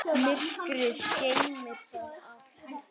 Myrkrið geymir það allt.